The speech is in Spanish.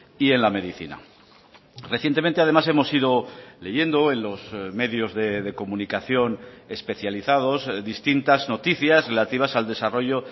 y en la medicina recientemente además hemos ido leyendo en los medios de comunicación especializados distintas noticias relativas al desarrollo